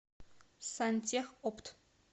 сантехопт